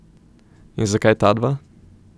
In zakaj tadva?